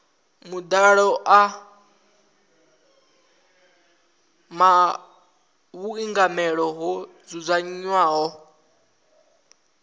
madalo a vhuingameli ho dzudzanywaho